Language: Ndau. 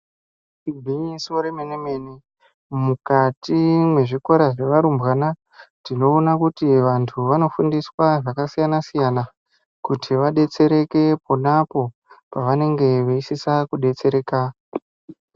Igwinyiso remenene, mukati mwezvikora zvevarumbwana, tinoona kuti vantu vanofundiswa zvakasiyana siyana kuti vabetsereke ponapo pavanenge veisisa kubetsereka.